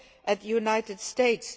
Look at the United States.